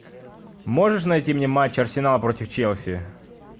можешь найти мне матч арсенала против челси